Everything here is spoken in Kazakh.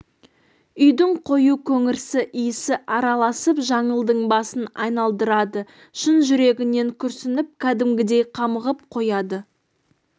үйдің қою көңірсі иісі араласып жаңылдың басын айналдырады шын жүрегінен күрсініп кәдімгідей қамығып қояды